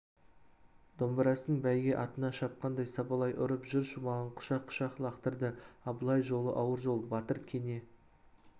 домбырасын бәйге атына шапқандай сабалай ұрып жыр шумағын құшақ-құшақ лақтырды абылай жолы ауыр жол батыр кене